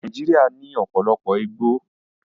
Nàìjíríà ní ọ̀pọ̀lọpọ̀ igbó